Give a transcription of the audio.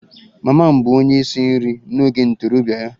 Mama m bụbu onye isi nri n'oge ntorobịa ya